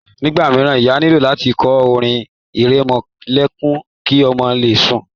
Nígbà míràn, ìyá nílò láti kọ orin ìrẹmọlẹ́kún ki ọmọ le sùn.